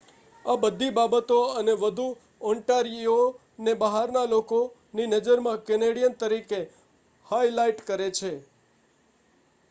આ બધી બાબતો અને વધુ ઑન્ટારીયોને બહારના લોકોની નજરમાં કેનેડિયન તરીકે હાઇલાઇટ કરે છે